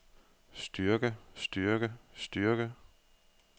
styrke styrke styrke